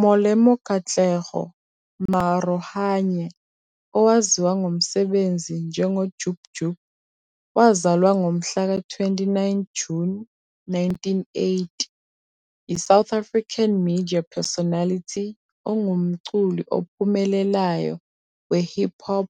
Molemo Katleho Maarohanye, owaziwa ngokomsebenzi njengoJub Jub, wazalwa ngomhlaka 29 Juni 1980, yiSouth African Media Personality ongumculi ophumelelayo we-hip hop